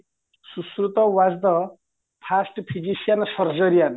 ସୄଶୃତ was the fast physician serge ryan